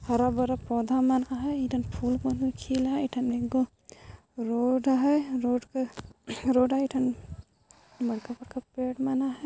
हरा भरा पौधा मन आहाय इठन फूल मन हों खिल आहाय इठन एक गो रोड आहाय रोड है एठन बड़खा बड़खा पेड़ मन आहाय |